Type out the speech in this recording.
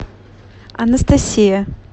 анастасия